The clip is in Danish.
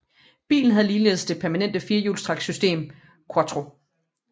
Bilen havde ligeledes det permanente firehjulstræksystem quattro